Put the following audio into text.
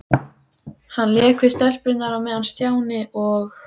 Hann lék við stelpurnar á meðan Stjáni og